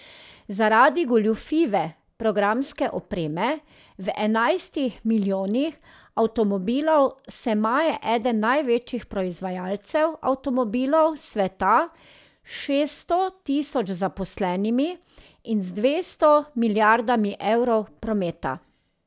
Zaradi goljufive programske opreme v enajstih milijonih avtomobilov se maje eden največjih proizvajalcev avtomobilov sveta s šeststo tisoč zaposlenimi in z dvesto milijardami evrov prometa.